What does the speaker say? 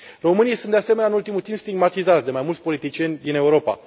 Românii sunt, de asemenea, în ultimul timp, stigmatizați de mai mulți politicieni din Europa.